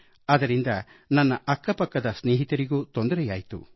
ಅದರಿಂದ ನನ್ನ ಅಕ್ಕಪಕ್ಕದ ಸ್ನೇಹಿತರಿಗೂ ನನ್ನಿಂದ ತೊಂದರೆಯಾಯ್ತು